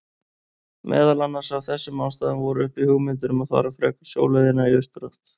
Meðal annars af þessum ástæðum voru uppi hugmyndir um að fara frekar sjóleiðina í austurátt.